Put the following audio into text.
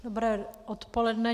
Dobré odpoledne.